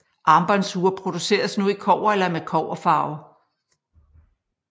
Armbåndsure produceres nu i kobber eller med kobberfarve